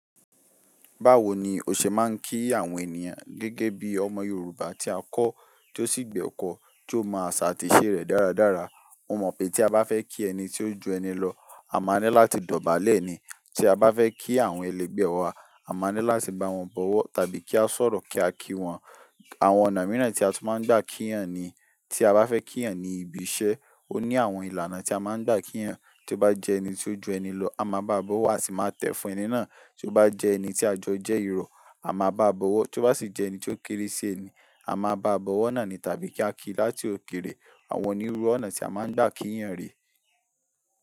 Báwo ni o ṣe máa ń kí àwọn ènìyàn gẹ́gẹ́ bí ọmọ Yorùbá tí a kọ́, tí ó sì gbà ẹ̀kọ́, tí ó mọ àṣà àti ìṣe rẹ̀ dáradára. Mo mọ̀ pé tí a bá fẹ́ kí ẹni tí ó ju ẹni lọ, a máa ní láti dọ̀bálẹ̀ ni. Tí a bá fẹ́ kí àwọn ẹlẹgbẹ́ wa, a máa ní láti bá wọn bọ̀wọ̀ tàbí kí a sọ̀rọ̀ kí a kí wọn. Àwọn ọ̀nà mìíràn tí a tún máa ń gbà kí ènìyàn ni tí a bá fẹ́ kí ènìyàn ní ibi iṣẹ́. Ó ní àwọn ìlànà tí a máa gbà kí ènìyàn tí ó bá jẹ ẹni tí ó ju ẹni lọ, a máa bá a bọ̀wọ̀, a sì máa tẹ̀ fún ẹni náà. Tí ó bá jẹ ẹni tí àjọ jẹ́ irọ̀, a máa bá a bọ̀wọ̀. Tí ó bá sì jẹ ẹni tí ó kéré sí ẹni, a máa bá a bọ̀wọ̀ náà ni tàbí kí á kí láti òkèrè. Àwọn onírúurú ọ̀nà tí a máa ń gbà kí ènìyàn rẹ̀.